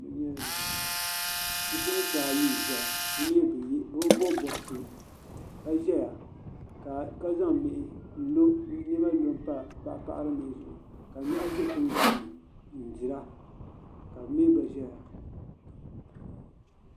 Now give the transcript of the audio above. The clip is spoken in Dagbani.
Bipuɣins ayi n zɛya bi bi bɔbi bɔbsi ka zɛya ka zaŋ mihi nlɔ yinɔ nuu pa paɣiri mihi zuɣu ka nɔhi zɛ tin gban ni n-dira ka lɔɔri zɛya.